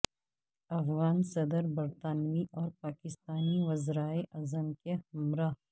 افغان صدر برطانوی اور پاکستانی وزرائے اعظم کے ہمراہ